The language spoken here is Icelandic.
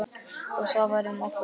Og svo var um okkur.